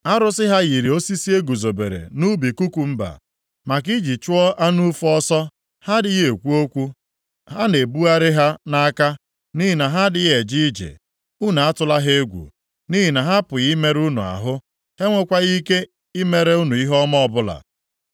Arụsị ha yiri osisi eguzobere nʼubi kukumba maka iji chụọ anụ ufe ọsọ, ha adịghị ekwu okwu. A na-ebugharị ha nʼaka nʼihi na ha adịghị eje ije. Unu atụla ha egwu, nʼihi na ha apụghị imerụ unu ahụ, ha enwekwaghị ike imere unu ihe ọma ọbụla.”